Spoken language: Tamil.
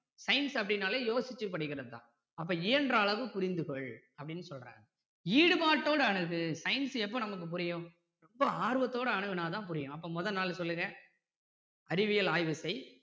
science அப்படினாலே யோசிச்சு படிக்கிறது தான் அப்போ இயன்ற அளவு புரிந்து கொள் அப்படின்னு சொல்றாரு ஈடுபாட்டோட அணுகு science எப்போ நமக்கு புரியும் ரொம்ப ஆர்வத்தோட அணுகுனா தான் புரியும் அப்போ முதல் நான்கு சொல்லுங்க அறிவியல் ஆய்வு செய்